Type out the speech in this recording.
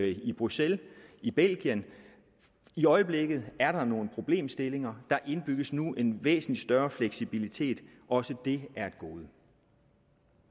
i bruxelles i belgien i øjeblikket er der nogle problemstillinger der indbygges nu en væsentlig større fleksibilitet også det er et gode